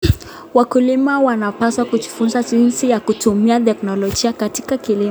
Wakulima wanapaswa kujifunza jinsi ya kutumia teknolojia katika kilimo.